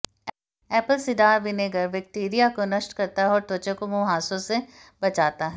Apple cider vinegar bacteria को नष्ट करता है और त्वचा को मुंहासों से बचाता है